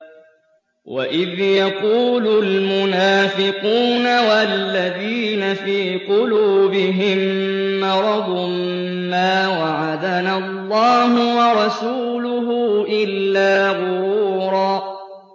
وَإِذْ يَقُولُ الْمُنَافِقُونَ وَالَّذِينَ فِي قُلُوبِهِم مَّرَضٌ مَّا وَعَدَنَا اللَّهُ وَرَسُولُهُ إِلَّا غُرُورًا